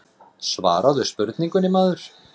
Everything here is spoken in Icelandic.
Svaraðu spurningunni maður.